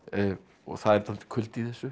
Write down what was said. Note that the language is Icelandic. og það er dálítill kuldi í þessu